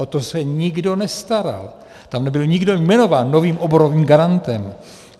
O to se nikdo nestaral, tam nebyl nikdo jmenován novým oborovým garantem.